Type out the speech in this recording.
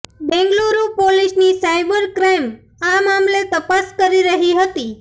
બેંગ્લુરુ પોલીસની cyber crime આ મામલે તપાસ કરી રહી હતી